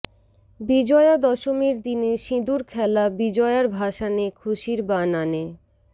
বিজয়া দশমীর দিনে সিঁদুর খেলা বিজয়ার ভাসানে খুশির বান আনে